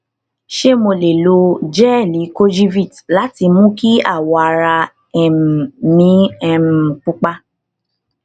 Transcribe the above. ṣé mo lè lo jẹẹlì kojivit láti mú kí awọ ara um mí um pupa